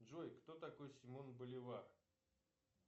джой кто такой симон боливар